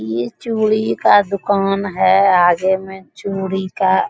ये चूड़ी का दुकान है आगे में चूड़ी का --